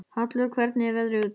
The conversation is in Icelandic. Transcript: Hallvör, hvernig er veðrið úti?